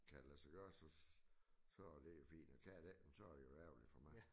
Kan det lade sig gøre så så det jo fint og kan det ikke men så det jo ærgerligt for mig